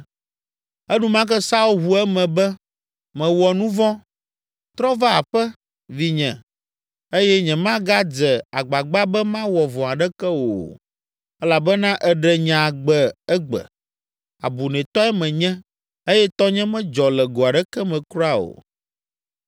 Enumake Saul ʋu eme be, “Mewɔ nu vɔ̃. Trɔ va aƒe, vinye eye nyemagadze agbagba be mawɔ vɔ̃ aɖeke wò o, elabena èɖe nye agbe egbe; abunɛtɔe menye eye tɔnye medzɔ le go aɖeke me kura o.”